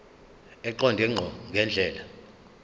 eqonde ngqo ngendlela